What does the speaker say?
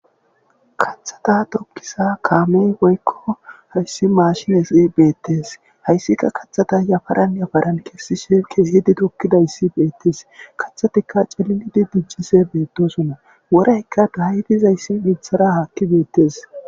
kathata tokkisa kaamey woykko hayssi maashinesi beettes hayssika kathata yafaranyafaran kessi sheke hidi tokkidayssi beettes kathatikka cilinidi diccise beetosonna woraykka dahyidizayssi mithara haakki beettes